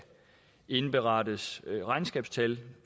indberettes regnskabstal